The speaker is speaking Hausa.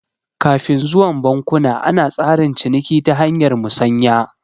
Kafun zuwan bankuna ana tsarin ciniki ta hanyar musanya